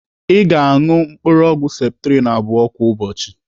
Ị ga-anụ mkpụrụ ọgwụ septrin abụọ kwa ụbọchị.